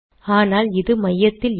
ஆனால் இது மையத்தில் இல்லை